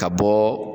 Ka bɔ